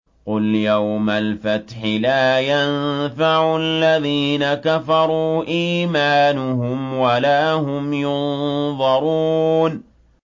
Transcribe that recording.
قُلْ يَوْمَ الْفَتْحِ لَا يَنفَعُ الَّذِينَ كَفَرُوا إِيمَانُهُمْ وَلَا هُمْ يُنظَرُونَ